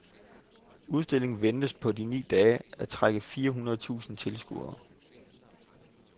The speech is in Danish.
Udstillingen ventes på de ni dage at trække fire hundrede tusinde tilskuere.